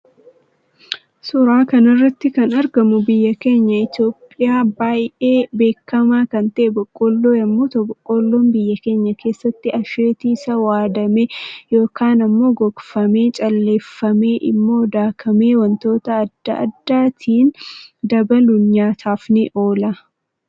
Suuraa kanarratti kan argamu biyya keenya itoophiya baay'ee beekama kan ta'e boqqollo yommuu ta'u boqqollon biyya keenya kessatti asheetii isa waadame yookan immoo gogfame calleeffamee immoo daakamee waantota adda addaattindabaluun nyaataf ni oola.